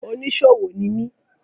Oníṣòwò ni mi.